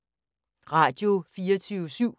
Radio24syv